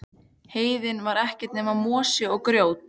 Heiðin var ekkert nema mosi og grjót.